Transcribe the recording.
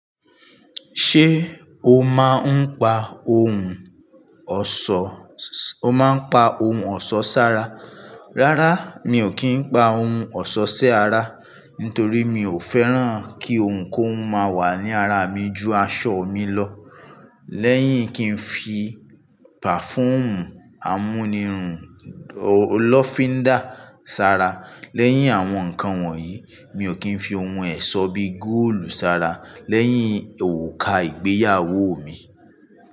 Ṣé o máa ń pa ohun ọ̀ṣọ, o máa ń pa ohun ọ̀ṣọ́ sára? Rárá, mi ò kí ń pa ohun ọ̀ṣọ́ sí ara, nítorí mi ò fẹ́ràn kí ohun kóhun máa wà ní ara mi ju aṣọ mi lọ. Lẹ́yìn kí n fi perfume amúnirun lófíndà sara. Lẹ́yìn àwọn nǹkan wọ̀nyí, mi ò kí ń fi ohun ẹ̀ṣọ́ bí góòlù sara lẹ́yìn òrùka ìgbéyàwó mi.